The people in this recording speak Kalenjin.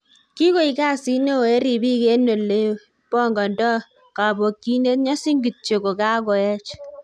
Kigoik kasiit neo en ribiik en ole bongondoo kobokyinet- nyosin kityok kogakoech